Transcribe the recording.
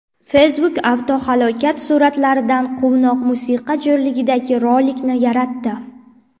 Facebook avtohalokat suratlaridan quvnoq musiqa jo‘rligidagi rolikni yaratdi .